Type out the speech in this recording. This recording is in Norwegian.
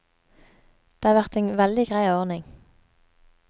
Det har vært en veldig grei ordning.